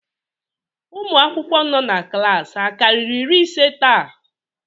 Ụmụ akwụkwọ nọ na klaasị akarịrị iri ise taa?